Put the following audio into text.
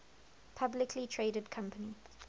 publicly traded company